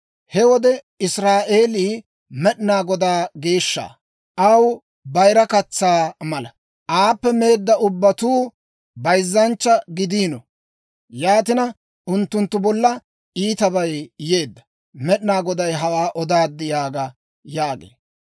He wode Israa'eelii Med'inaa Godaw geeshsha. Aw bayira katsaa mala; aappe meedda ubbatuu bayzzanchcha gidiino. Yaatina, unttunttu bolla iitabay yeedda. Med'inaa Goday hawaa odaad› yaaga» yaagee.